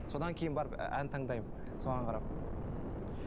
содан кейін барып ән таңдаймын соған қарап ммм